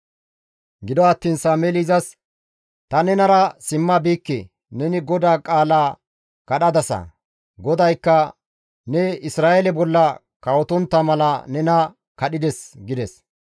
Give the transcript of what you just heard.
Gido attiin Sameeli izas, «Ta nenara simma biikke; neni GODAA qaalaa kadhadasa; GODAYKKA ne Isra7eele bolla kawotontta mala nena kadhides» gides.